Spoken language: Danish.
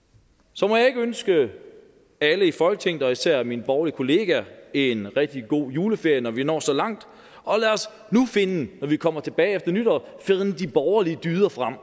så må jeg ikke ønske alle i folketinget og især mine borgerlige kollegaer en rigtig god juleferie når vi når så langt og lad os nu finde når vi kommer tilbage efter nytår de borgerlige dyder frem